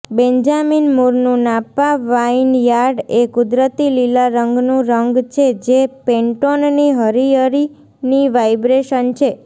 Benjamin મૂરનું Napa vineyard એ કુદરતી લીલા રંગનું રંગ છે જે પેન્ટોનની હરિયરીની વાઇબ્રેશન છે